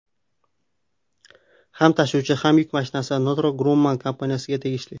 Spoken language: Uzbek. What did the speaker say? Ham tashuvchi, ham yuk mashinasi Northrop Grumman kompaniyasiga tegishli.